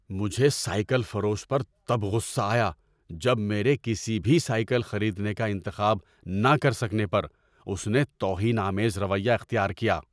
مجھے سائیکل فروش پر تب غصہ آیا جب میرے کسی بھی سائیکل خریدنے کا انتخاب نہ کر سکنے پر اس نے توہین آمیز رویہ اختیار کیا۔